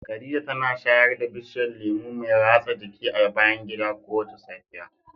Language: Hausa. Khadija tana shayar da bishiyar lemu mai ratsa jiki a bayan gida kowace safiya.